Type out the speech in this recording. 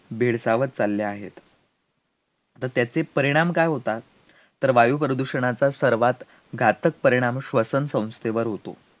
भेडसावत चालले आहेत, तर त्याचे परिणाम काय होतात तर वायुप्रदूषणाचा सर्वात घातक परिणाम श्वसनसंस्थेवर होतो,